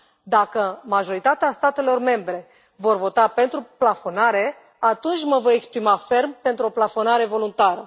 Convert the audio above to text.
Dacă majoritatea statelor membre vor vota pentru plafonare, atunci mă voi exprima ferm pentru o plafonare voluntară.